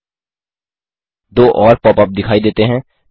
2 और pop up दिखाई देते हैं